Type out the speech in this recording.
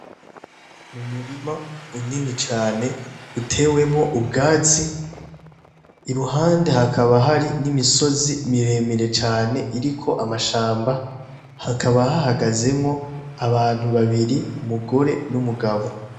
Ni umurima unini cane utewemwo ubwazi i ruhande hakaba hari n'imisozi miremire cane iriko amashamba hakaba hahagazemwo abantu babiri umugore n'umugabo.